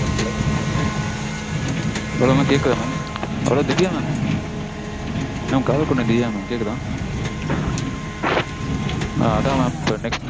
Hello hello mam கேக்குதா mam? mam Divya mam. காதல் கொண்டேன் திவ்யா mam கேக்குதா? ஆ அதா mam இப்போ next